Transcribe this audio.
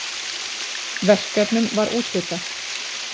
Verkefnum var úthlutað.